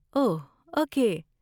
اوہ okay